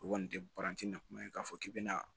O kɔni tɛ paranti na kuma ye k'a fɔ k'i bɛna